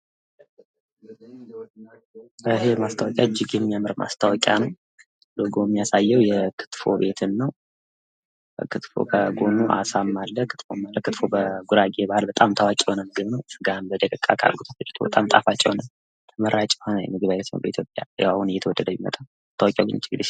ይህ ማስታወቂያ በጣም እጅግ የሚያምር ማስታወቂያ ነው። ሎጎው የሚያሳየው የክትፎ ቤትን ነው ክትፎ ከጎኑ አለ አሳም አለ ክትፎ በጉራጌ ባህል በጣም ታዋቂ የሆነ ምግብ ነው በጣም ጣፋጭ እና ተመራጭ የሆነ ምግብ ነው በኢትዮጵያ አሁን ላይ እየተወደደ የመጣ ነው።